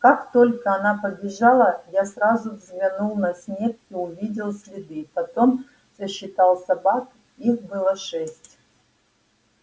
как только она побежала я сразу взглянул на снег и увидел следы потом сосчитал собак их было шесть